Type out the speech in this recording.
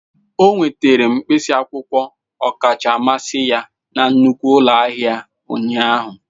O nwetara mkpịsị akwụkwọ ọkacha mmasị ya na nnukwu ụlọ ahịa ụnyaahụ.